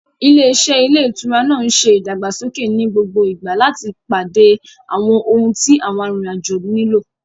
Ilé-iṣẹ́ ilé ìtura náà ń ṣe ìdàgbàsókè ní gbogbo ìgbà láti pàdé àwọn ohun tí àwọn arìnrìn-àjò nílò.